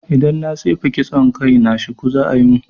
Idan na tsefe kitson kai na, shuku za'a yi mun